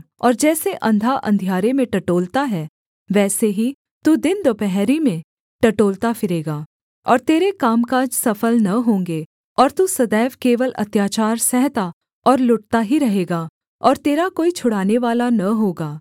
और जैसे अंधा अंधियारे में टटोलता है वैसे ही तू दिन दुपहरी में टटोलता फिरेगा और तेरे कामकाज सफल न होंगे और तू सदैव केवल अत्याचार सहता और लुटता ही रहेगा और तेरा कोई छुड़ानेवाला न होगा